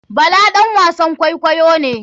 Bala ɗan wasan kwaikwayo ne.